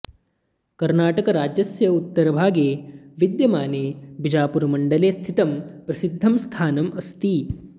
कर्णाटकराज्यस्य उत्तरभागे विद्यमाने बिजापुरमण्डले स्थितं प्रसिद्धं स्थानम् अस्ति